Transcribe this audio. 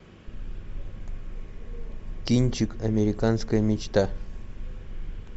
кинчик американская мечта